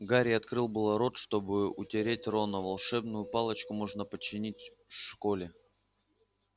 гарри открыл было рот чтобы утешить рона волшебную палочку можно починить в школе